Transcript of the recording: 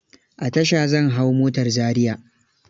A tasha zan hau motar Zariya.